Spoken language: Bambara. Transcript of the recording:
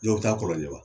Dɔw bɛ taa kɔlɔnjɛba